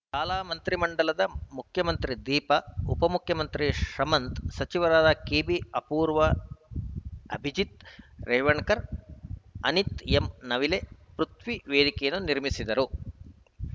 ಶಾಲಾ ಮಂತ್ರಿ ಮಂಡಲದ ಮುಖ್ಯಮಂತ್ರಿ ದೀಪಾ ಉಪಮುಖ್ಯಮಂತ್ರಿ ಶಮಂತ್‌ ಸಚಿವರಾದ ಕೆಬಿ ಅಪೂರ್ವ ಅಭಿಜಿತ್‌ ರೇವಣಕರ್‌ ಅನಿತ್‌ ಎಂನವಲೆ ಪೃಥ್ವಿ ವೇದಿಕೆ ನಿರ್ವಹಿಸಿದರು